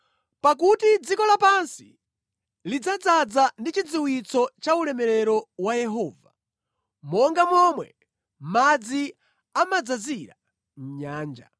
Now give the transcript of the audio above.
Pakuti dziko lapansi lidzadzaza ndi chidziwitso cha ulemerero wa Yehova, monga momwe madzi amadzazira nyanja.